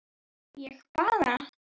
ég bara